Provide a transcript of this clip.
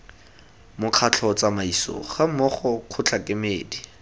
mokgatlho tsamaiso gammogo kgotla kemedi